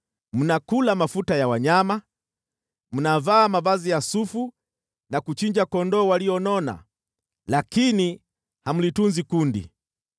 Mnakula mafuta ya wanyama, mnavaa mavazi ya sufu na kuchinja kondoo walionona, lakini hamlitunzi kundi.